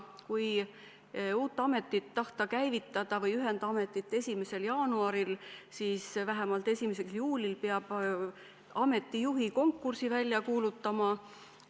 Kui tahta käivitada uus amet või ühendamet 1. jaanuaril, siis vähemalt 1. juulil peab ameti juhi konkursi välja kuulutama.